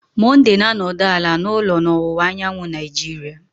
Monday na-anọdụ ala n'ụlọ na ọwụwa anyanwụ Nigeria